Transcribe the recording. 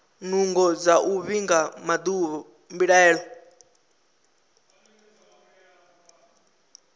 nungo dza u vhiga mbilaelo